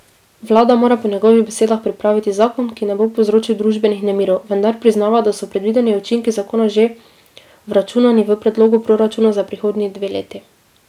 Vlada mora po njegovih besedah pripraviti zakon, ki ne bo povzročil družbenih nemirov, vendar priznava, da so predvideni učinki zakona že vračunani v predlogu proračuna za prihodnji dve leti.